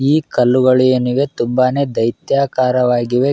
ಈ ಕಲ್ಲುಗಳು ಏನಿವೆ ತುಂಬಾನೇ ದೈತ್ಯಾಕಾರವಾಗಿವೆ --